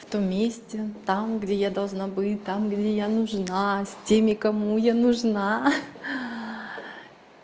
в том месте там где я должна быть там где я нужна с теми кому я нужна ха-ха